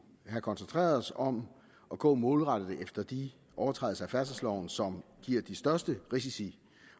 have koncentreret sig om at gå målrettet efter de overtrædelser af færdselsloven som giver de største risici